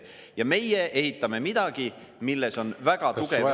Ja meie ehitame midagi, milles on väga tugev risk.